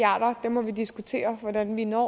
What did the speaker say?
må diskutere hvordan vi når